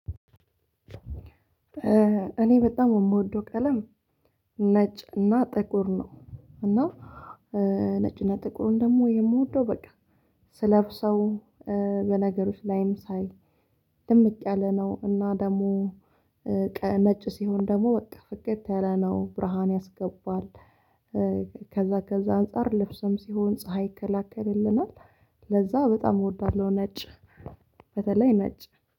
እኔ በጣም የምወደው ቀለም ነጭ እና ጥቁር ነው። እና ነጭ እና ጥቁር ደግሞ የምወደው በቃ ስለብሰው በነገሮችም ላይም ሳይ ድምቅ ያለ ነው እና ደግሞ ነጭ ሲሆን ደግሞ በቃ ፍክት ያለ ብርሃን ያስገባል። ከዛ ከዛ አነጻር ልብስም ሲሆን ፀሀይ ይከላከልልናል። ለዛ በጣም እወዳልሁ። ነጭ በተለይ ነጭ